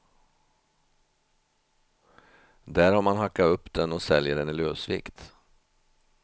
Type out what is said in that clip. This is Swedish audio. Där har man hackat upp den och säljer den i lösvikt.